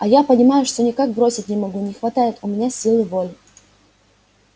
а я понимаешь всё никак бросить не могу не хватает у меня силы воли